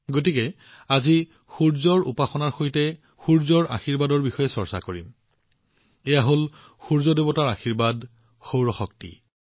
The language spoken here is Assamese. গতিকে আজি সূৰ্যৰ উপাসনা কৰাৰ লগতে তেওঁৰ আশীৰ্ব্বাদৰ বিষয়েও কিয়নো আলোচনা নকৰো সূৰ্য ঈশ্বৰৰ এই আশীৰ্বাদ হৈছে সৌৰ শক্তি